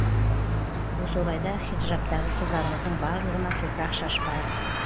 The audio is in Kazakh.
осы орайда хиджабтағы қыздарымыздың барлығына топырақ шашпайық